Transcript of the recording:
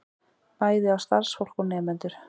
Bæði á starfsfólk og nemendur